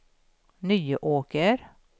Nyåker